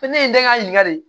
Ko ne ye den ka ɲininka de ye